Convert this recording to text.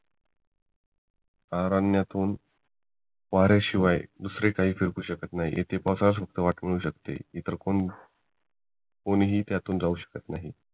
अरण्ण्यातून वाऱ्याशिवाय दुसरे काही फेकू शकत नाही इथे असू शकते इतर कोण कोणीही त्यातून जावू शकत नाही